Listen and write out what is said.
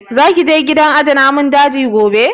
Za ki je gidan aje namun daji gobe?